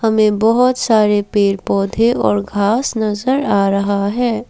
हमे बहोत सारे पेड़ पौधे और घास नजर आ रहा है।